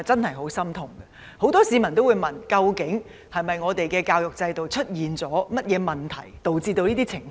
很多市民也會問，我們的教育制度是否出現了甚麼問題，以致有此情況？